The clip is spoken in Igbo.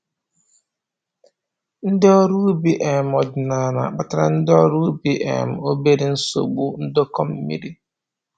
Ndị ọrụ ubi um ọdịnaala na-akpatara ndị ọrụ ubi um obere nsogbu ndọkọ mmiri